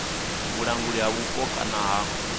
vhulanguli ha vhupo kana kha